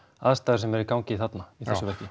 aðstæður sem eru í gangi þarna í þessu verki